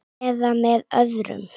. eða með öðrum